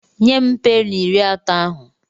Nye m peni iri atọ ahụ!